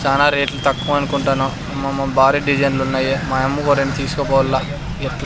చానా రేట్లు తక్కువ అనుకుంటాను మ మ భారీ డిజైన్లున్నాయి మా యమ్మ కో రెండు తీస్కోపోవల్ల ఎట్ల్ --